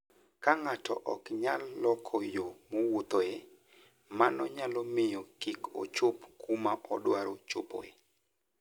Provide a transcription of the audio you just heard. Ka ng'ato ok nyal loko yo mowuothoe, mano nyalo miyo kik ochop kuma odwaro chopoe.